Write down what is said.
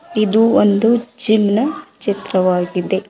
ಇದು ಒಂದು ಜಿಮ್ ನ ಚಿತ್ರವಾಗಿದೆ.